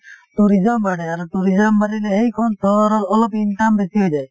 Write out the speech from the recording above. tourism বাঢ়ে আৰু tourism বঢ়িলে সেইখন চহৰৰ অলপ income বেছি হৈ যায়